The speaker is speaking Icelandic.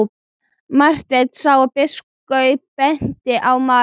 Marteinn sá að biskup benti á Maríu.